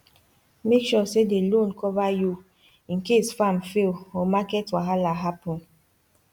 make sure say the loan cover you in case farm fail or market wahala happen